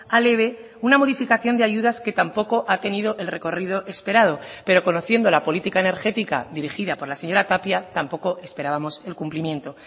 al eve una modificación de ayudas que tampoco ha tenido el recorrido esperado pero conociendo la política energética dirigida por la señora tapia tampoco esperábamos el cumplimiento